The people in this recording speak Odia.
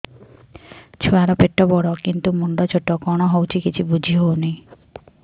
ଛୁଆର ପେଟବଡ଼ କିନ୍ତୁ ମୁଣ୍ଡ ଛୋଟ କଣ ହଉଚି କିଛି ଵୁଝିହୋଉନି